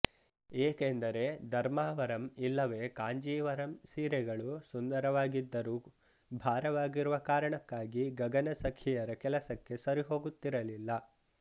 ಏಕೆಂದರೆ ಧರ್ಮಾವರಂ ಇಲ್ಲವೇ ಕಾಂಜೀವರಂ ಸೀರೆಗಳು ಸುಂದರವಾಗಿದ್ದರು ಭಾರವಾಗಿರುವ ಕಾರಣಕ್ಕಾಗಿ ಗಗನ ಸಖಿಯರ ಕೆಲಸಕ್ಕೆ ಸರಿಹೊಗುತ್ತಿರಲಿಲ್ಲ